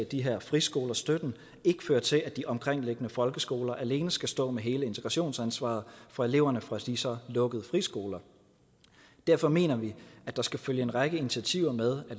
de her friskoler støtten ikke fører til at de omkringliggende folkeskoler alene skal stå med hele integrationsansvaret for eleverne fra de så lukkede friskoler derfor mener vi at der skal følge en række initiativer med